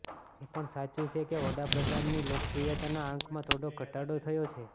એ પણ સાચું છે કે વડા પ્રધાનની લોકપ્રિયતાના આંકમાં થોડો ઘટાડો થયો છે